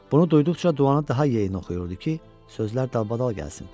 Bunu duyduqca duanı daha yeyin oxuyurdu ki, sözlər dalbadal gəlsin.